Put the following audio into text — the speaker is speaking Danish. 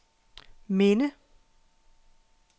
minde